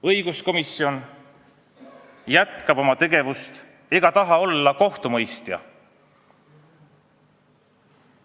Õiguskomisjon jätkab oma tegevust ega taha olla kohtumõistja.